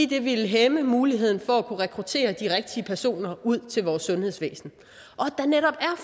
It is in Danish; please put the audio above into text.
det ville hæmme muligheden for at kunne rekruttere de rigtige personer ud til vores sundhedsvæsen